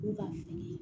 U ka fini